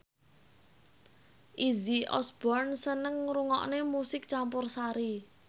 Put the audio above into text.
Izzy Osborne seneng ngrungokne musik campursari